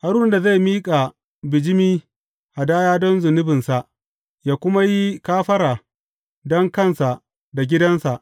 Haruna zai miƙa bijimi hadaya don zunubinsa yă kuma yi kafara don kansa da gidansa.